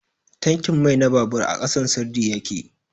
tankin mai na babur a ƙasan sirdi ya ke